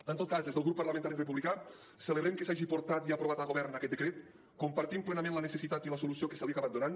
en tot cas des del grup parlamentari republicà celebrem que s’hagi portat i aprovat a govern aquest decret compartim plenament la necessitat i la solució que se li ha acabat donant